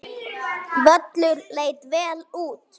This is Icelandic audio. Völlur leit vel út.